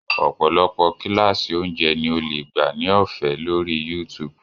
Ọ̀pọ̀lọpọ̀ kíláàsì oúnjẹ ni o lè gbà ní ọ̀fẹ́ lórí YouTube